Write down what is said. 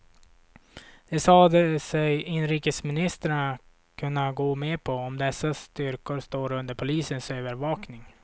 Det sade sig inrikesministern kunna gå med på, om dessa styrkor står under polisens övervakning.